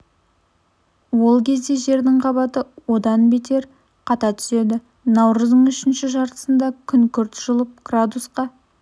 ол кезде жердің қабаты одан бетер қата түседі наурыздың үшінші жартысында күн күрт жылып градусқа